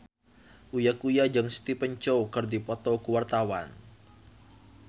Uya Kuya jeung Stephen Chow keur dipoto ku wartawan